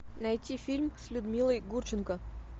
найти фильм с людмилой гурченко